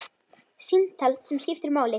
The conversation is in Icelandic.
Símtal sem skiptir máli